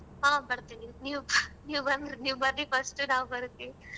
ಹಾ ಬರ್ತಿನಿ ನೀವ್ ನೀವ್ ಬನ್ರಿ ನೀವ್ ಬರ್ರಿ first ಉ ನಾವೂ ಬರ್ತಿವಿ.